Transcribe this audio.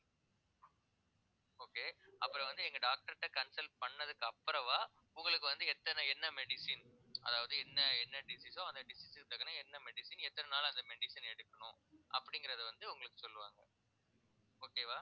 okay அப்புறம் வந்து எங்க doctor ட்ட consult பண்ணதுக்கு அப்புறமா உங்களுக்கு வந்து எத்தன என்ன medicine அதாவது என்ன என்ன disease ஓ அந்த district க்கு தக்கன என்ன medicine எத்தனை நாளா அந்த medicine எடுக்கணும் அப்படிங்கிறதை வந்து உங்களுக்கு சொல்லுவாங்க okay வா